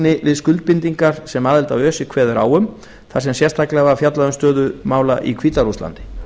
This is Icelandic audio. framfylgni við skuldbindingar sem aðild að öse kveður á um þar sem sérstaklega var fjallað um stöðu mála í hvíta